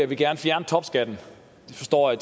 vi gerne fjerne topskatten vi forstår at